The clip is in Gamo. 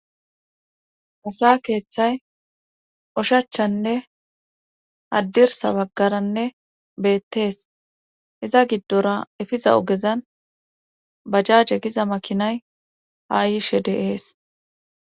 musa keeththay oshachanne addirsa baggaranne beettees iza giddora efiza ogezan bajjaaje giza makinay ha yishe deees